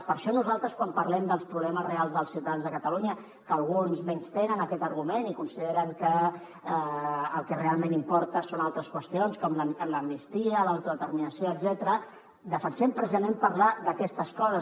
per això nosaltres quan parlem dels problemes reals dels ciutadans de catalunya que alguns menystenen aquest argument i consideren que el que realment importa són altres qüestions com l’amnistia l’autodeterminació etcètera defensem precisament parlar d’aquestes coses